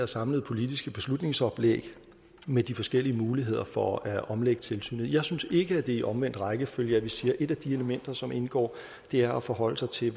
samlede politiske beslutningsoplæg med de forskellige muligheder for at omlægge tilsynet foreligger jeg synes ikke at det er i omvendt rækkefølge at vi siger at et af de elementer som indgår er at forholde sig til